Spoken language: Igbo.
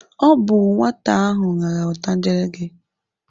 Ọ bụ nwata ahụ rara otangele gị.